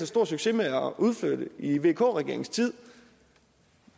stor succes med at udflytte i vk regeringens tid